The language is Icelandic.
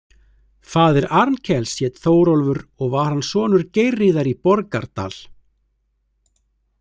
Faðir Arnkels hét Þórólfur og var hann sonur Geirríðar í Borgardal.